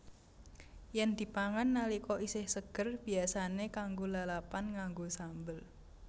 Yèn dipangan nalika isih seger biyasané kanggo lalapan nganggo sambel